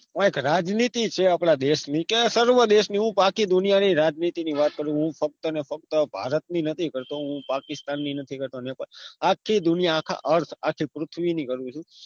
અ એક રાજનીતિ છે આપડા દેશની કે સર્વ દેશની હું આખી દુનિયા રાજનીતિ ની વાત કરું હું ફક્ત ને ફક્ત ભારતની નથી હું પાકિસ્તાનની નથી કરતો આખી દુનિયાની આખું earth આખી પૃથ્વીની ની કરું છુ